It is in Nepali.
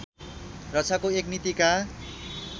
रक्षाको एक नीतिका